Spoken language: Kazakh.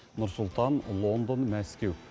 нұр сұлтан лондон мәскеу